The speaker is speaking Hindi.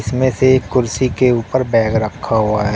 इनमें से एक कुर्सी के ऊपर बैग रखा हुआ है।